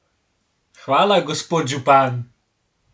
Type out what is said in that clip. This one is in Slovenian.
Hvala, gospod župan.